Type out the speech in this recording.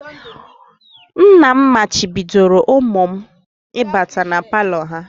Nna ha machibidoro ụmụ m ịbata na palọ ahụ